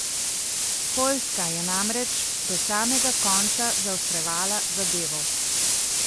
Poljska je namreč do samega konca zaostrovala zadevo.